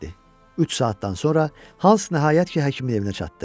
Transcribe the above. Üç saatdan sonra Hans nəhayət ki, həkimin evinə çatdı.